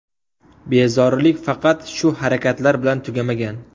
Bezorilik faqat shu harakatlar bilan tugamagan.